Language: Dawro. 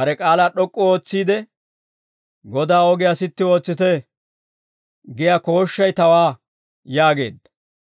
bare k'aalaa d'ok'k'u ootsiide, « ‹Godaa ogiyaa sitti ootsite!› giyaa kooshshay tawaa» yaageedda.